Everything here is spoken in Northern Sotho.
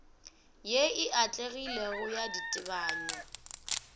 ye e atlegilego ya ditebanywa